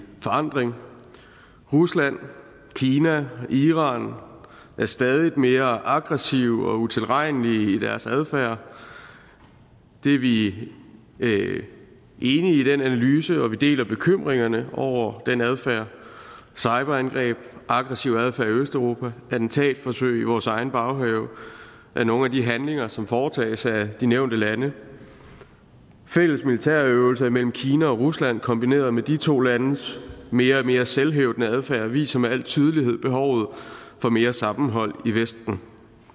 forandring rusland kina iran er stadig mere aggressive og utilregnelige i deres adfærd vi vi er enige i den analyse og vi deler bekymringerne over den adfærd cyberangreb aggressiv adfærd i østeuropa attentatforsøg i vores egen baghave er nogle af de handlinger som foretages af de nævnte lande fælles militærøvelser imellem kina og rusland kombineret med de to landes mere og mere selvhævdende adfærd viser med al tydelighed behovet for mere sammenhold i vesten